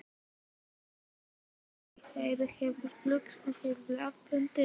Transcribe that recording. Þórður sagði að þeir hefðu flaggað því á blaðamannafundi.